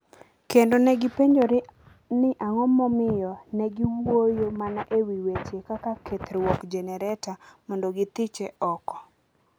kendo ne gipenjore ni ang’o momiyo ne giwuoyo mana e wi weche kaka kethruok jenereta mondo githiche oko.